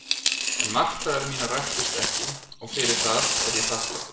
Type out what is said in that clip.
En martraðir mínar rættust ekki og fyrir það er ég þakklátur.